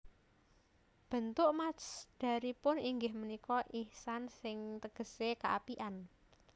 Béntuk masdaripun inggih punika ihsan ing tégésé kéapikan